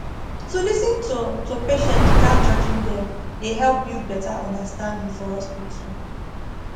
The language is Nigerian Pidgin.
to lis ten to to patients without judging dem dey help build better understanding for hospital